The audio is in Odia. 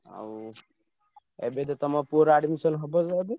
ଆଉ ଏବେ ତ ତମ ପୁଅର admission ହବ ନା ଏବେ?